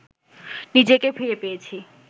নিজেকে ফিরে পেয়েছি